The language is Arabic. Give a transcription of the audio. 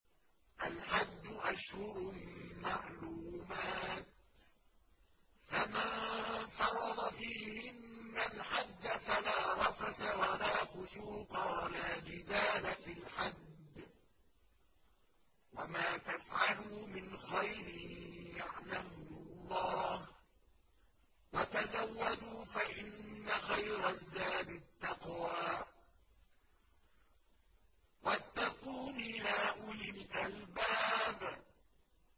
الْحَجُّ أَشْهُرٌ مَّعْلُومَاتٌ ۚ فَمَن فَرَضَ فِيهِنَّ الْحَجَّ فَلَا رَفَثَ وَلَا فُسُوقَ وَلَا جِدَالَ فِي الْحَجِّ ۗ وَمَا تَفْعَلُوا مِنْ خَيْرٍ يَعْلَمْهُ اللَّهُ ۗ وَتَزَوَّدُوا فَإِنَّ خَيْرَ الزَّادِ التَّقْوَىٰ ۚ وَاتَّقُونِ يَا أُولِي الْأَلْبَابِ